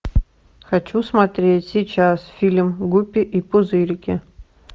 хочу смотреть сейчас фильм гуппи и пузырики